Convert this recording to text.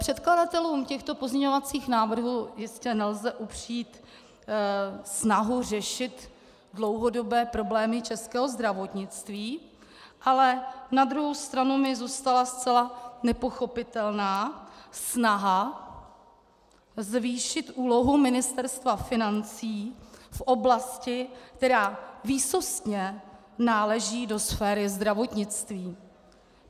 Předkladatelům těchto pozměňovacích návrhů jistě nelze upřít snahu řešit dlouhodobé problémy českého zdravotnictví, ale na druhou stranu mi zůstala zcela nepochopitelná snaha zvýšit úlohu Ministerstva financí v oblasti, která výsostně náleží do sféry zdravotnictví.